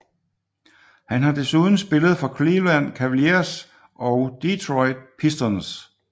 Han har desuden spillet for Cleveland Cavaliers og Detroit Pistons